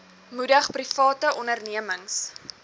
moedig private ondernemings